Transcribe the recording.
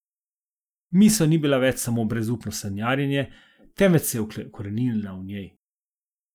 Misel ni bila več samo brezupno sanjarjenje, temveč se je ukoreninila v njej.